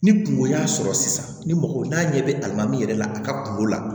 Ni kungo y'a sɔrɔ sisan ni mɔgɔ n'a ɲɛ bɛ alimami yɛrɛ la a ka kungo la